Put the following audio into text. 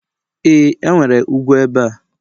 e, enwere ugwu ebe a